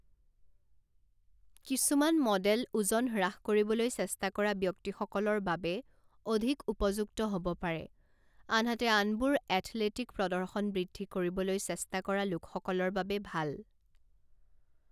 কিছুমান মডেল ওজন হ্ৰাস কৰিবলৈ চেষ্টা কৰা ব্যক্তিসকলৰ বাবে অধিক উপযুক্ত হ'ব পাৰে, আনহাতে আনবোৰ এথলেটিক প্ৰদৰ্শন বৃদ্ধি কৰিবলৈ চেষ্টা কৰা লোকসকলৰ বাবে ভাল।